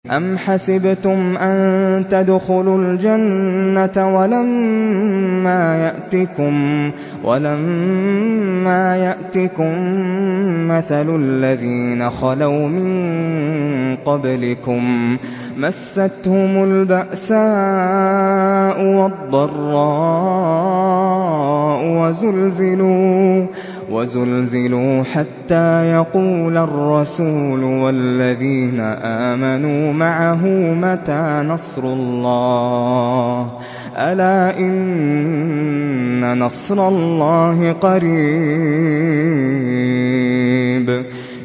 أَمْ حَسِبْتُمْ أَن تَدْخُلُوا الْجَنَّةَ وَلَمَّا يَأْتِكُم مَّثَلُ الَّذِينَ خَلَوْا مِن قَبْلِكُم ۖ مَّسَّتْهُمُ الْبَأْسَاءُ وَالضَّرَّاءُ وَزُلْزِلُوا حَتَّىٰ يَقُولَ الرَّسُولُ وَالَّذِينَ آمَنُوا مَعَهُ مَتَىٰ نَصْرُ اللَّهِ ۗ أَلَا إِنَّ نَصْرَ اللَّهِ قَرِيبٌ